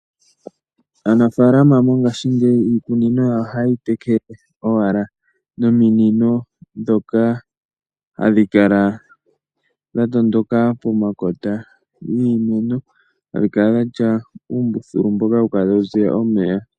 Aanafaalama mongashingeyi iikunino yawo ohaye yi tekele owala nominino ndhoka hadhi kala dha tondoka pomakota giimeno, hadhi kala dha tya uumbululu mboka hawu kala tawu ziya omeya.